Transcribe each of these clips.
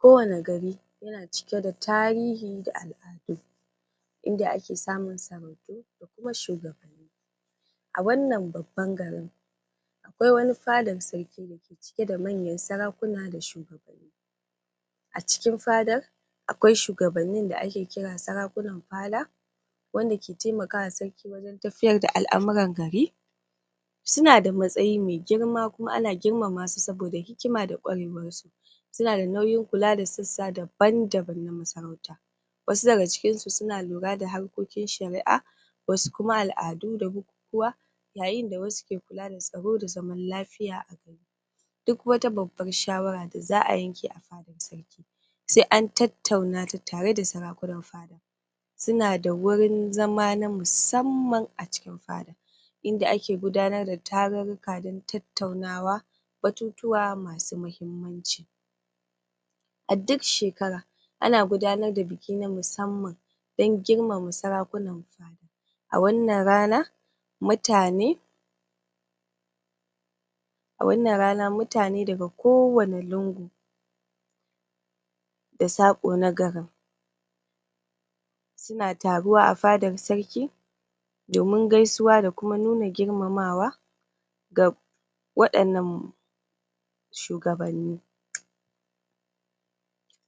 Kowani gariKowani gari yana cike da tarihi da al'adu em inda ake samun sarautu da kuma shugabanni. a wannan babban garin, akwai wani fadar sarki dake cike da manyan sarakuna da shugabanni. acikin fadar, akwai shugabanni da ake kira sarakunan fada wanda ke taimaka wa sarki wajen tafiyar da al'amuran gari, suna da matsayi mai girma kuma ana girmama su saboda hikima da kwarewar su, sunada nauyin kula da sassa daban daban na masarautar. Wasu daga cikin su lura da harkokin Shari'a, wasu kuma al'adu da bukukuwa, yayin da wasu ke kula da tsaro da zaman lafiya duk wata babbar shawara da za'a yanke a fadar sarki sai an tattauna ta tare da sarakunan fada Sunada gurin zama na musamman acikin fada inda ake gudanar da tarurruka dan tattaunawa batutuwa masu mahimmanci. A duk shekara, ana gudanar da bikin na musamman dan girmama sarakunan fada. A wannan ranan, mutane, A wannan rana mutane daga kowani lungu da saƙo na garin. suna taruwa a fadar sarki domin gaisuwa kuma nuna girmamawa ga waɗannan shugabanni.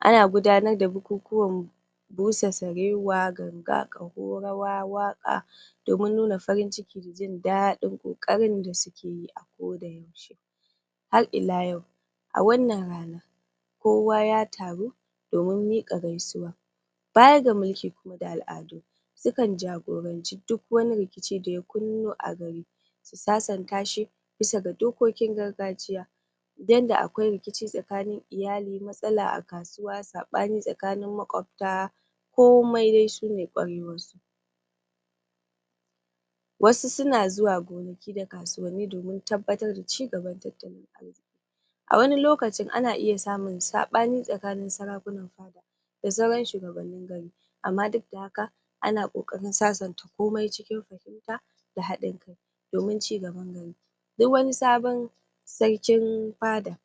Ana gudanar da bukukuwan busa sarewa, ganga, ƙaho, rawa, waƙa domin nuna farin cikin jin daɗin ƙoƙarin da suke yi a koda yaushe. Har ila yau, a wannan rana, Kowa ya taru domin miƙa. gamsuwa Baya ga mulki kuma da al'adu sukan jagoranci duk wani rikici daya Kunno a gari, su sasanta shi bisa ga dokokin gargajiya. Idan da akwai rikici tsakanin iyali, matsala a kasuwa, saɓani tsakanin maƙobta,, komai dai sune kwarewar su. Wasu suna zuwa gonaki da kasuwanni domin cigaban tattalin arziki A wani lokaci ana iya samun saɓani tsakanin sarakunan da sauran shugabanni gari amma duk da haka, ana ƙoƙarin sasanta komai cikin fahimta da haɗin kai domin cigaban garin. Duk wani sabon sarkin fada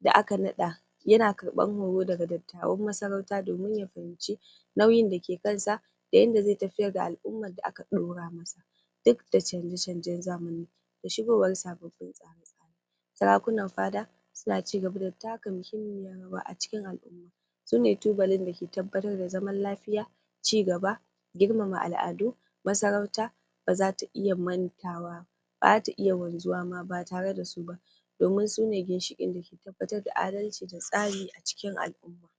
da aka naɗa, yana karɓan horo daga dattawan masarauta domin ya fahimci nauyin dake kansa da yanda zai tafiyar da al'umma da aka ɗaura duk da canza canzan zamani da shigowar sababbin tsare tsare, sarakunan fada, suna cigaba da taka muhimmiyar rawa acikin al'umma. sune tubalin dake tabbatar da zaman lafiya, cigaba girmama al'adu, Masarauta bazata iya mantawa bazata iya wanzuwa ma batare da suba bazata iya wanzuwa ma batare da suba domin su ne ginshiƙi dake tabbatar da adalci da tsari acikin al'umma. domin su ne ginshiƙi dake tabbatar da adalci da tsari acikin al'umma. domin su ne ginshiƙi dake tabbatar da adalci da tsari acikin al'umma. domin su ne ginshiƙi dake tabbatar da adalci da tsari acikin al'umma.